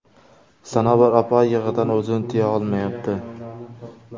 Sanobar opa yig‘idan o‘zini tiya olmayapti.